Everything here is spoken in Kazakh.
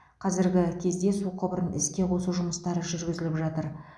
қазіргі кезде су құбырын іске қосу жұмыстары жүргізіліп жатыр